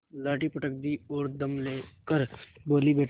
लाठी पटक दी और दम ले कर बोलीबेटा